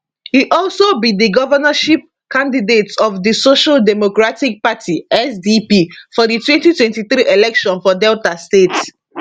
e also be di governorship candidate of di social democratic party sdp for di 2023 election for delta state